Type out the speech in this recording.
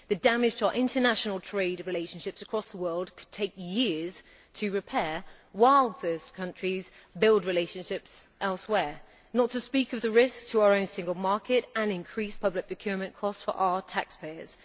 The damage to our international trade relationships across the world could take years to repair, while those countries build relationships elsewhere not to mention the risk to our own single market and increased public procurement costs for our taxpayers.